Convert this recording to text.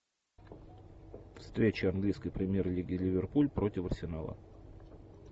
встреча английской премьер лиги ливерпуль против арсенала